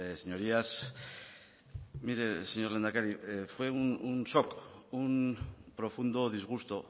señorías mire señor lehendakari fue un shock un profundo disgusto